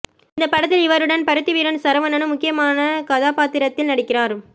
இந்த படத்தில் இவருடன் பருத்திவீரன் சரவணனும் முக்கியமான கதாபாத்திரத்தில் நடிக்கிறார்